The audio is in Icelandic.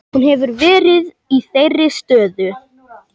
Hún hefur verið í þeirri stöðu